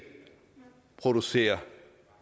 producerer